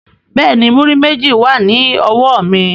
Bẹ́ẹ̀ni, múrí méjì wà ní ọwọ́ mi